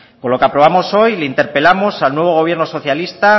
con lo que aprobamos hoy interpelamos al nuevo gobierno socialista